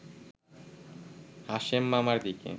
হাশেম মামার দিকে